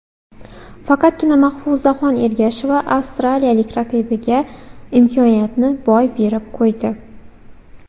Faqatgina Mahfuzaxon Ergasheva avstraliyalik raqibiga imkoniyatni boy berib qo‘ydi.